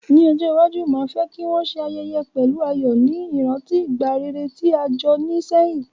Ní ojó iwaju, ma fe ki won se ayẹyẹ pẹ̀lu ayò, ni ìrántí ìgbà rere ti a jo ni sehín